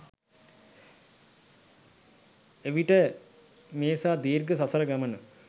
එවිට මේසා දීර්ඝ සසර ගමන